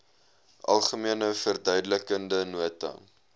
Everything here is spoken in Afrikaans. algemene verduidelikende nota